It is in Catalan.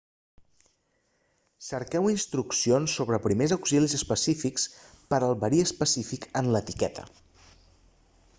cerqueu instruccions sobre primers auxilis específics per al verí específic en l'etiqueta